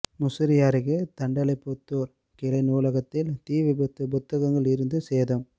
முசிறி அருகே தண்டலைபுத்தூர் கிளை நூலகத்தில் தீ விபத்து புத்தகங்கள் எரிந்து சேதம்